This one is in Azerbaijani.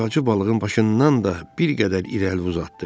Ağacı balığın başından da bir qədər irəli uzatdı.